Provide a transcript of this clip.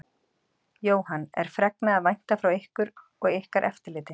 Jóhann: Er fregna að vænta frá ykkur og ykkar eftirliti?